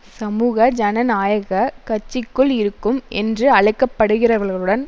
சமூக ஜனநாயக கட்சிக்குள் இருக்கும் என்று அழைக்கப்படுகிறவர்களுடன்